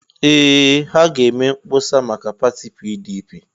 Ee! Ha ga-eme mkpọsa maka pati PDP.